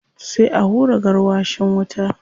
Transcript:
Sai a hura gwarwashin wuta.